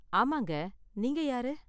ஆமாங்க. நீங்க யாரு?